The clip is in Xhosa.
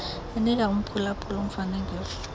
enika umphulaphuli umfanekiso